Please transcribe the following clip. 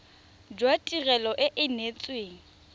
jwa tirelo e e neetsweng